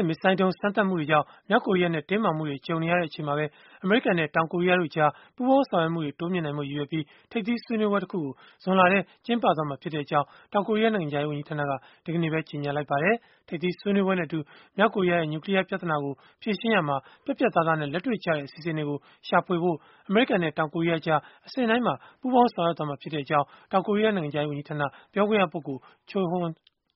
ဲ့ မစ်ဇိုင်းဒုံးစမ်းသပ်မှုတွေကြောင့် မြောက်ကိုရီးယားနဲ့ တင်းမာမှုတွေ ကြုံနေရချိန်မှာပဲ အမေရိကန်နဲ့ တောင်ကိုရီးယားတို့ကြား ပူးပေါင်းဆောင်ရွက်မှုတွေ တိုးမြှင့်နိုင်ဖို့ ရည်ရွယ်ပြီး၊ ထိပ်သီးဆွေးနွေးပွဲ တခုကို ဇွန်လထဲ ကျင်းပသွားမှာဖြစ်ကြောင်း တောင်ကိုရီးယား နိုင်ငံခြားရေး ဝန်ကြီးဌာနက ဒီကနေ့ပဲ ကြေညာလိုက်ပါတယ်။ ထိပ်သီးဆွေးနွေးပွဲနဲ့အတူ၊ မြောက်ကိုရီးယားရဲ့ နျူကလီးယား ပြဿနာကို ဖြေရှင်းရာမှာ ပြတ်ပြတ်သားသားနဲ့ လက်တွေ့ကျတဲ့ အစီအစဉ်တွေကို ရှာဖွေဖို့ အမေရိကန်နဲ့ တောင်ကိုရီးယားကြား အဆင့်တိုင်းမှာ ပူးပေါင်းဆောင်ရွက်သွားမှာ ဖြစ်ကြောင်း တောင်ကိုရီးယား နိုင်ငံခြားရေး ဝန်ကြီးဌာန ပြောခွင့်ရပုဂ္ဂိုလ် Cho